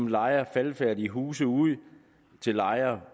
lejer faldefærdige huse ud til lejere